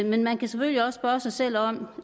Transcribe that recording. men man kan selvfølgelig også spørge sig selv om